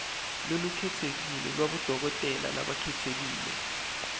lolukhetsekile lwabodokotela labakhetsekile